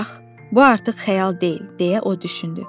Bax, bu artıq xəyal deyil, deyə o düşündü.